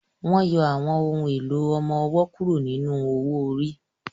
Wọ́n yọ àwọn ohùn èlò ọmọ-ọwọ́ kúrò nínú owó-orí